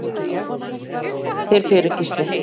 Þakka þér fyrir Gísli.